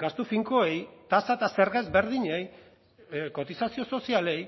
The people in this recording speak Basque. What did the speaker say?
gastu finkoei tasa eta zerga ezberdinei kotizazio sozialei